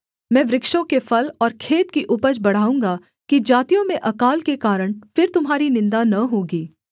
मैं वृक्षों के फल और खेत की उपज बढ़ाऊँगा कि जातियों में अकाल के कारण फिर तुम्हारी निन्दा न होगी